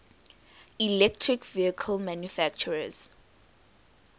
electric vehicle manufacturers